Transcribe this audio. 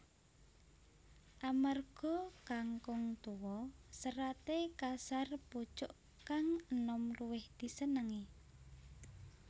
Amarga kangkung tuwa seraté kasar pucuk kang enom luwih disenengi